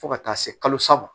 Fo ka taa se kalo saba ma